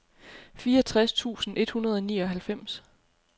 fireogtres tusind et hundrede og nioghalvfems